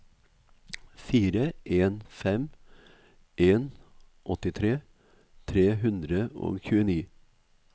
fire en fem en åttitre tre hundre og tjueni